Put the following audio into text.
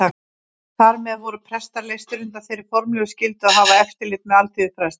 Þar með voru prestar leystir undan þeirri formlegu skyldu að hafa eftirlit með alþýðufræðslu.